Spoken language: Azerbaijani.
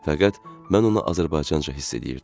Fəqət mən ona azərbaycanca hiss eləyirdim.